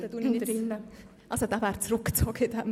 Dieser Antrag ist zurückgezogen.